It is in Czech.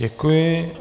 Děkuji.